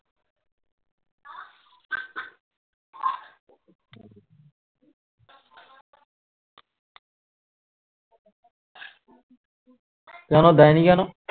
কেন দেয়নি কেন